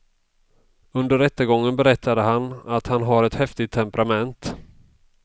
Under rättegången berättade han att han har ett häftigt temperament.